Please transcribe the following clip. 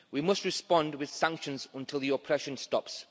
We must respond with sanctions until the oppression stops.